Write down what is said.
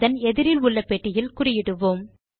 அதன் எதிரில் உள்ள பெட்டியில் குறியிடுவோம்